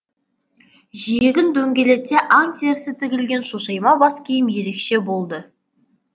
жиегін дөңгелете аң терісі тігілген шошайма баскиім ерекше болды